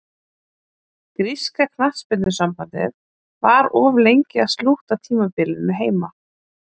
Gríska knattspyrnusambandið var of lengi að slútta tímabilinu heima.